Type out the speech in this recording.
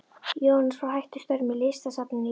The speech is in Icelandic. Jóhannes var hættur störfum í Listasafni Íslands.